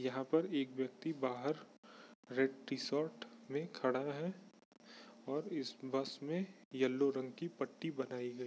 यहाँ पर एक व्यक्ति बहार रेड टी-शर्ट में खड़ा है और इस बस में यलो रंग की पट्टी बनाई गयी--